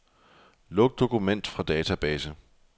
Luk dokument fra database.